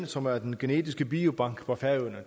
som er den genetiske biobank på færøerne